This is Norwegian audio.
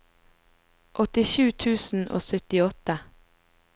åttisju tusen og syttiåtte